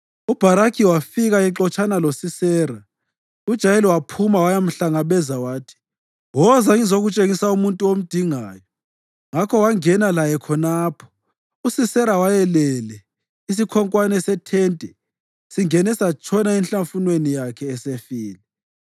UBharakhi wafika exotshana loSisera, uJayeli waphuma wayamhlangabeza. Wathi, “Woza, ngizakutshengisa umuntu omdingayo.” Ngakho wangena laye khonapho, uSisera wayelele isikhonkwane sethente singene satshona enhlafunweni yakhe esefile.